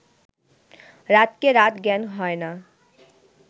রাতকে রাত জ্ঞান হয় না